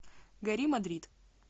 гори мадрид